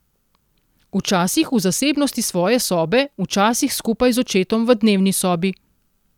Včasih v zasebnosti svoje sobe, včasih skupaj z očetom v dnevni sobi.